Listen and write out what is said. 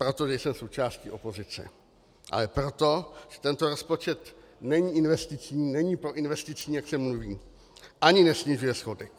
Proto nejsem součástí opozice, ale proto, že tento rozpočet není investiční, není proinvestiční, jak se mluví, ani nesnižuje schodek.